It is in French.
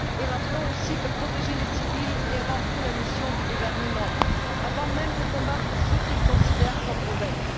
Rappelons aussi que protéger les civils est avant tout la mission du gouvernement, avant même de combattre ceux qu'il considère comme rebelles.